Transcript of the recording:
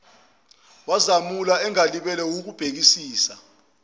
wazamula engalibele wukubhekisisa